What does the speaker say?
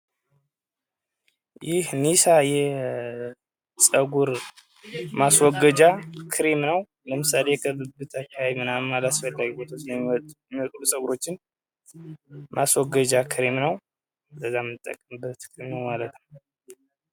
ይህ ኒሳ የፀጉር ማስወከጃ ክሬም ነው ።ለምሳሌ በብብት አካባቢ የሚወጡ አላስፈላጊ ፀጉሮችን ማስወገጃ ክሬም ነው ።